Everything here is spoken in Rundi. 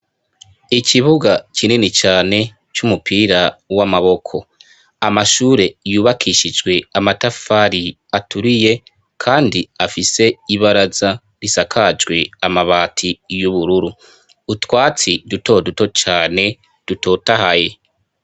Ikibuga kinini cane c'umupira w'amaboko amashure yubakishijwe amatafari aturiye, kandi afise ibaraza risakajwe amabati y'ubururu utwatsi dutoduto cane dutotahaye.